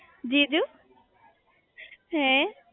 જીજુ હે